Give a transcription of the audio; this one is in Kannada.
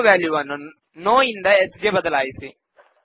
ಆಟೋ ವಾಲ್ಯೂ ವನ್ನು ನೋ ಇಂದ ಎಸ್ ಗೆ ಬದಲಾಯಿಸಿ